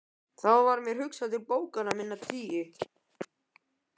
Þá varð mér hugsað til bókanna minna tíu.